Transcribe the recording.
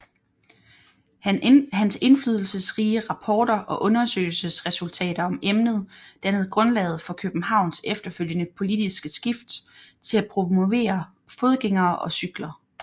Hans indflydelsesrige rapporter og undersøgelsesresultater om emnet dannede grundlaget for Københavns efterfølgende politiske skift til at promovere fodgængere og cykler